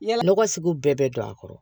Yala nɔgɔ sugu bɛɛ bɛ don a kɔrɔ